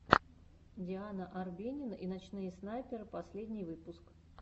диана арбенина и ночные снайперы последний выпуск